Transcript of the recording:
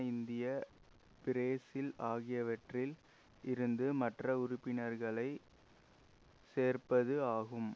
India Brazil ஆகியவற்றில் இருந்து மற்ற உறுப்பினர்களை சேர்ப்பது ஆகும்